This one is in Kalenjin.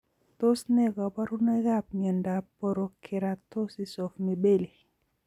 Tos ne kaborunoikab miondop porokeratosis of mibelli